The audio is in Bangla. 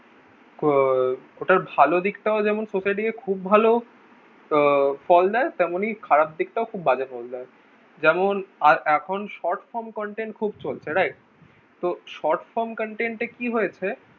এটার ভালো দিকটা ও যেমন . খুব ভালো আহ ফল দেয় তেমনি খারাপ দিকটা ও খুব বাজে ফল দেয় যেমন এখন short from contain খুব চলছে right তো short form contain এ কি হয়েছে